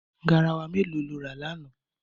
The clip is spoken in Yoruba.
Garawa mélòó ló rà lánàá?